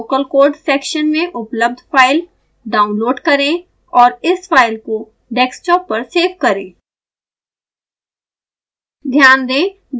sbhs local code section में उपलब्ध file download करें और इस फाइल को डेस्कटॉप पर सेव करें